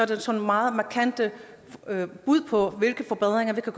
der sådan meget markante bud på hvilke forbedringer vi kan